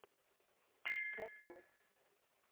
тату